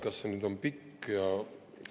Kas see on pikk?